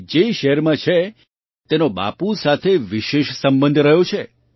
તે જે શહેરમાં છે તેનો બાપુ સાથે વિશેષ સંબંધ રહ્યો છે